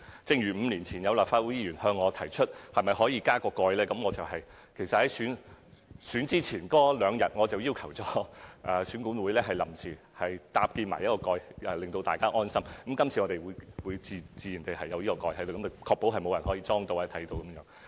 正如5年前，曾有立法會議員向我提出，是否可以加設上蓋；我在選舉前一兩天，要求選管會臨時搭建上蓋，令大家安心，今次亦自然設有上蓋，確保沒有任何人可以偷窺得到。